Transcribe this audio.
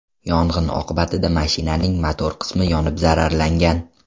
Yong‘in oqibatida mashinaning motor qismi yonib zararlangan.